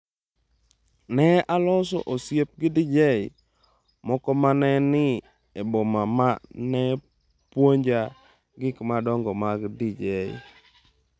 “Ne aloso osiep gi DJ moko ma ne ni e boma ma ne puonja gik madongo mag DJ.